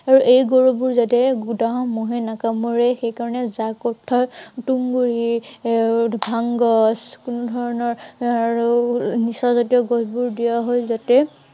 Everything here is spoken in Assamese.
এই গৰুবোৰ যাতে মহে নাকামোৰে সেই কাৰনে জাঁক অৰ্থাৎ তুঁহ গুৰি এৰ ভাং গছ এৰ তেনে ধৰনৰ এৰ নিচা জাতীয় গছবোৰ দিয়া হয় যাতে,